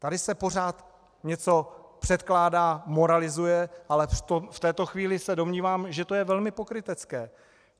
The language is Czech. Tady se pořád něco předkládá, moralizuje, ale v této chvíli se domnívám, že to je velmi pokrytecké.